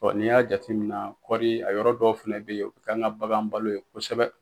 Bɔn n'i y'a jateminɛ kɔri a yɔrɔ dɔw fɛnɛ be yen o be k'an ka bagan balo ye kosɛbɛ